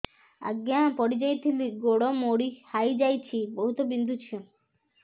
ଆଜ୍ଞା ପଡିଯାଇଥିଲି ଗୋଡ଼ ମୋଡ଼ି ହାଇଯାଇଛି ବହୁତ ବିନ୍ଧୁଛି